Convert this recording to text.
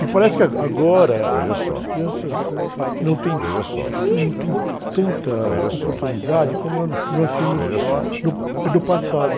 Me parece que agora as crianças não têm, não têm tanta oportunidade como, nós tínhamos no, no passado.